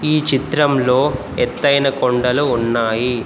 ఈ చిత్రంలో ఎత్తైన కొండలు ఉన్నాయి.